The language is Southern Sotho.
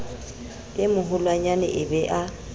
a maholwanyane e be a